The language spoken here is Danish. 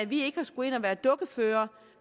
vi ikke har skullet ind og være dukkeførere